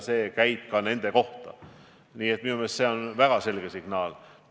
Minu meelest on see väga selge signaal.